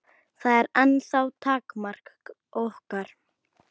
Það er ennþá takmark okkar.